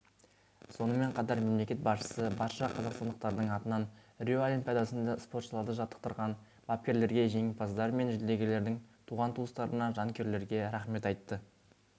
сонымен қатар мемлекет басшысы барша қазақстандықтардың атынан рио олимпиадасында спортшыларды жаттықтырған бапкерлерге жеңімпаздар мен жүлдегерлердің туған-туыстарына жанкүйерлерге рахмет айтты